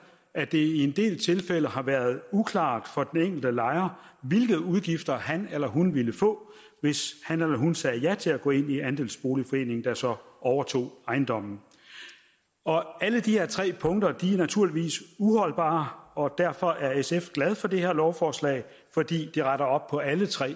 at det i en del tilfælde har været uklart for den enkelte lejer hvilke udgifter man ville få hvis man sagde ja til at gå ind i andelsboligforeningen der så overtog ejendommen alle de her tre punkter er naturligvis uholdbare og derfor er sf glade for det her lovforslag fordi det retter op på alle tre